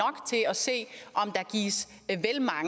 se at